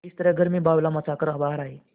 इस तरह घर में बावैला मचा कर बाहर आये